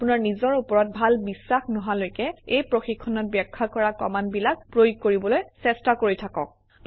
আপোনাৰ নিজৰ ওপৰত ভাল বিশ্বাস নহালৈকে এই প্ৰশিক্ষণত ব্যাখ্যা কৰা কমাণ্ডবিলাক প্ৰয়োগ কৰিবলৈ চেষ্টা কৰি থাকক